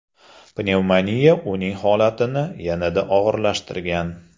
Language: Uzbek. Pnevmoniya uning holatini yanada og‘irlashtirgan.